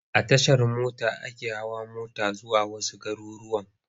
A Tashar mota ake hawa mota zuwa wasu garurruwan.